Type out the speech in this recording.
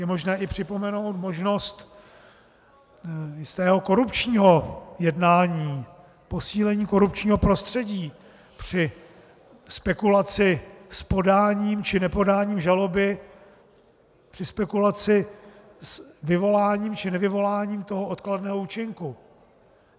Je možné i připomenout možnost jistého korupčního jednání, posílení korupčního prostředí či spekulaci s podáním či nepodáním žaloby či spekulaci s vyvoláním či nevyvoláním toho odkladného účinku.